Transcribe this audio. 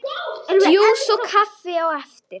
Djús og kaffi á eftir.